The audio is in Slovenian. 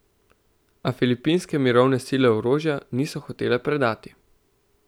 A filipinske mirovne sile orožja niso hotele predati.